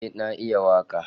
Yes i can sing